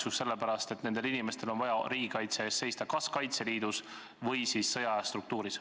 Seda sellepärast, et nendel inimestel on vaja riigi kaitse eest seista kas Kaitseliidus või siis sõjaaja struktuuris.